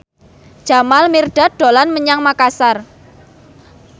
Jamal Mirdad dolan menyang Makasar